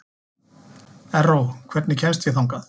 Erró, hvernig kemst ég þangað?